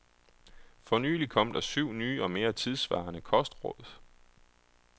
For nylig kom der syv nye og mere tidssvarende kostråd.